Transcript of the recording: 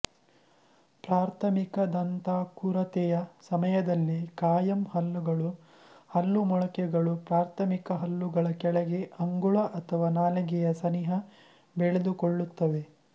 ಪ್ರಾಥಮಿಕ ದಂತಾಕುರತೆಯ ಸಮಯದಲ್ಲಿ ಕಾಯಂ ಹಲ್ಲುಗಳ ಹಲ್ಲು ಮೊಳಕೆಗಳು ಪ್ರಾಥಮಿಕ ಹಲ್ಲುಗಳ ಕೆಳಗೆ ಅಂಗುಳ ಅಥವಾ ನಾಲಗೆಯ ಸನಿಹ ಬೆಳೆದುಕೊಳ್ಳುತ್ತವೆ